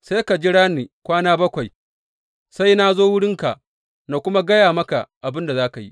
Sai ka jira ni kwana bakwai sai na zo wurinka na kuma gaya maka abin da za ka yi.